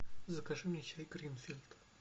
закажи мне чай гринфилд